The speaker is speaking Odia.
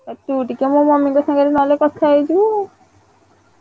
ଆଉ ତୁ ଟିକେ ମୋ mummy ଙ୍କ ସାଙ୍ଗରେ ନହେଲେ କଥା ହେଇଯିବୁ ଆଉ।